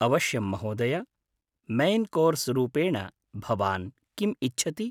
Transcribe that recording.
अवश्यं महोदय! Main course रूपेण भवान् किम् इच्छति?